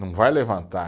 Não vai levantar.